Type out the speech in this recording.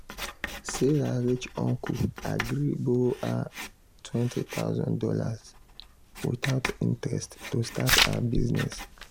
sarah rich uncle agree borrow her two thousand dollars0 without interest to start her business.